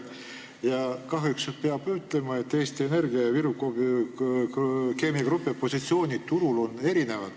Ja kahjuks peab ütlema, et Eesti Energia ja Viru Keemia Grupi positsioon turul on erinev.